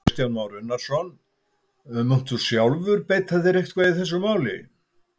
Kristján Már Unnarsson: Munt þú sjálfur beita þér eitthvað í þessu máli?